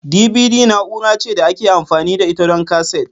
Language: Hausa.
DBD na'ura ce da ake amfani da ita don kaset.